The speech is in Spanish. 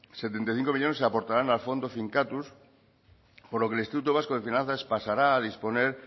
setenta y cinco millónes se aportarán al fondo finkatuz por lo que el instituto vasco de finanzas pasará a disponer